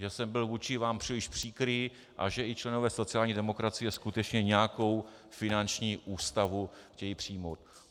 Že jsem byl vůči vám příliš příkrý a že i členové sociální demokracie skutečně nějakou finanční ústavu chtějí přijmout.